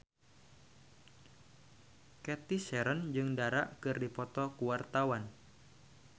Cathy Sharon jeung Dara keur dipoto ku wartawan